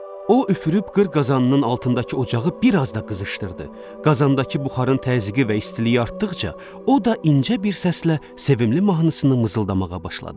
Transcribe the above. O üfürüb qır qazanının altındakı ocağı bir az da qızışdırdı, qazandakı buxarın təzyiqi və istiliyi artdıqca o da incə bir səslə sevimli mahnısını mızıldamağa başladı.